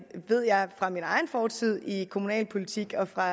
ved jeg fra min egen fortid i kommunalpolitik og fra